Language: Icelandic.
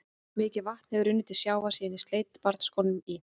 Mikið vatn hefur runnið til sjávar síðan ég sleit barnsskónum í